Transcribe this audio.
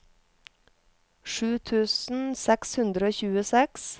sju tusen seks hundre og tjueseks